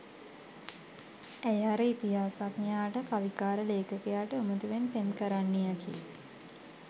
ඇය අර ඉතිහාසඥයාට කවිකාර ලේඛකයාට උමතුවෙන් පෙම් කරන්නියකි.